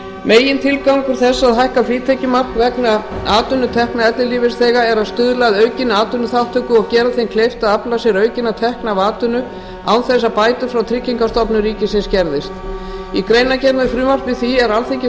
megintilgangur þess að hækka frítekjumark vegna atvinnutekna ellilífeyrisþega er að stuðla að aukinni atvinnuþátttöku og gera þeim kleift að afla sér aukinna tekna af atvinnu án þess að bætur frá tryggingastofnun ríkisins skerðist í greinargerð með frumvarpi því er alþingi samþykkti